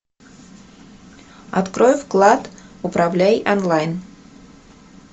открой вклад управляй онлайн